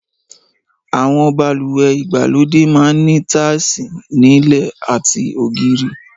Àwọn balùwẹ̀ ìgbàlódé máa ń ní táìsì nílẹ̀ àti ògiri